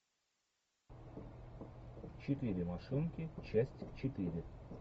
четыре машинки часть четыре